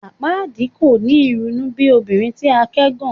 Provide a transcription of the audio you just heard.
Apaadi kò ni irunu bi obinrin ti a kẹgàn